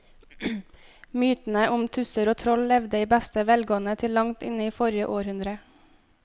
Mytene om tusser og troll levde i beste velgående til langt inn i forrige århundre.